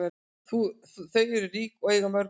Þau eru rík og eiga mörg hús.